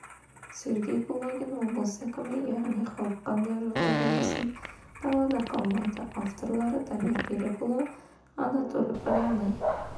сергей кулагин облыс әкімі яғни халық қандай жағдай болмасын далада қалмайды авторлары дамир берікұлы анатолий полянный